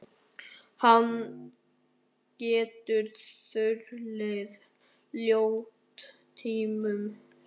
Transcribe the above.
Hann getur þulið ljóð tímunum saman.